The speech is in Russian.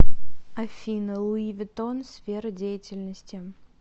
афина луи виттон сфера деятельности